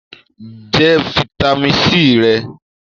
Jẹ fitami C rẹ!